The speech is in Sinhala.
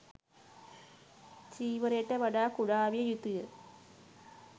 චීවරයට වඩා කුඩා විය යුතුය.